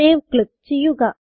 save click ചെയ്യുക